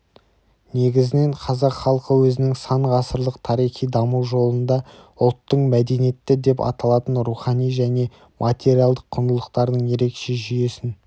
негізінен қазақ халқы өзінің сан ғасырлық тарихи даму жолында ұлттың мәдениеті деп аталатын рухани және материалдық құндылықтардың ерекше жүйесін